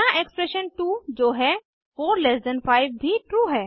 यहाँ एक्सप्रेशन 2जो है 4ल्ट5 भी ट्रू है